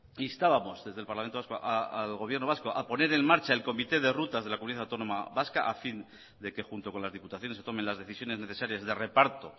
instábamos desde el parlamento al gobierno vasco a poner en marcha el comité de rutas de la comunidad autónoma vasca a fin de que junto con las diputaciones se tomen las decisiones necesarias de reparto